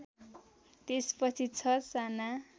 त्यसपछि ६ साना